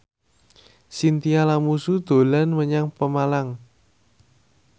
Chintya Lamusu dolan menyang Pemalang